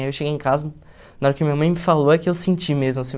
Aí eu cheguei em casa, na hora que minha mãe me falou é que eu senti mesmo, assim.